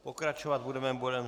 Pokračovat budeme bodem